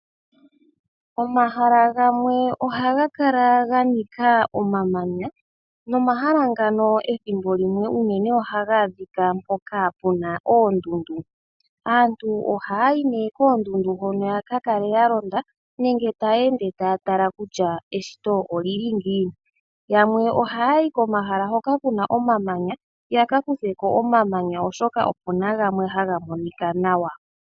Omahala gamwe oha ga kala ga nika omamanya nomahala ngano ethimbo limwe unene oha ga adhika mpoka pu na oondundu . Aantu oha ha yi nee koondundu hono ya ka kale ya londa nenge ta ya ende ta ya tala kutya eshito olili ngiini . Yamwe oha ya yi komahala hoka ku na omamanya ya ka kutheko omamanya oshoka oku na gamwe ha ga monika nawa.